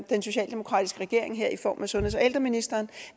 den socialdemokratiske regering her i form af sundheds og ældreministeren